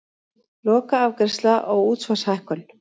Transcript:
Lokaafgreiðsla á útsvarshækkun